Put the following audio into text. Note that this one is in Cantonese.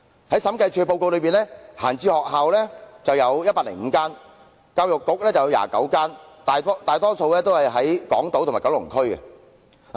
在審計署的報告中，空置校舍共有105間，教育局轄下有29間，大多數位於港島和九龍區。